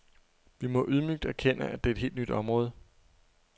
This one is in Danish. Vi må ydmygt erkende, at det er et helt nyt område.